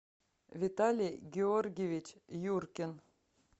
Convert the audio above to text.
виталий георгиевич юркин